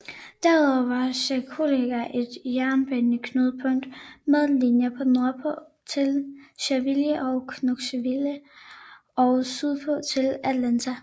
Derudover var Chattanooga et jernbaneknudepunkt med linjer nordpå til Nashville og Knoxville og sydpå til Atlanta